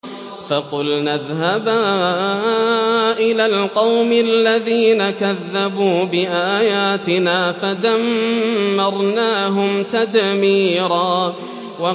فَقُلْنَا اذْهَبَا إِلَى الْقَوْمِ الَّذِينَ كَذَّبُوا بِآيَاتِنَا فَدَمَّرْنَاهُمْ تَدْمِيرًا